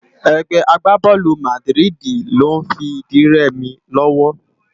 Ègbè àgbábòlú Màdiridi ló n fi di rèmi lòwò